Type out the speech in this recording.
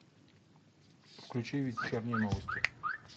включи вечерние новости